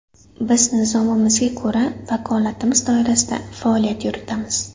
Biz nizomimizga ko‘ra vakolatimiz doirasida faoliyat yuritamiz.